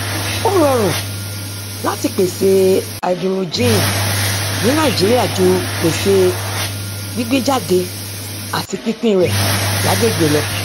ó rọrùn láti pèsè háídírójìn ní nàìjíríà ju pèsè gbígbéjáde àti pínpín rẹ lágbègbè lọ